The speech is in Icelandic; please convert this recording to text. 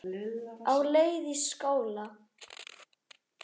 Á leið í skóla.